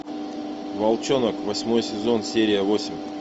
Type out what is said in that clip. волчонок восьмой сезон серия восемь